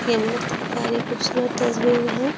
ये बहुत प्यारी खूबसूरत तस्वीर है।